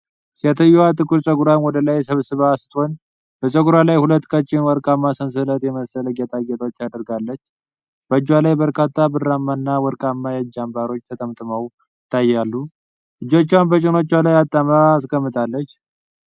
ሴትየዋ ጥቁር ጸጉሯን ወደ ላይ ሰብስባ ስትሆን፣ በጸጉሯ ላይ ሁለት ቀጭን ወርቃማ ሰንሰለት የመሰሉ ጌጣጌጦች አድርጋለች። በእጆቿ ላይ በርካታ ብርማና ወርቃማ የእጅ አምባሮች ተጠምጥመው ይታያሉ፤ እጆቿን በጭኖቿ ላይ አጣምራ አስቀምጣለች።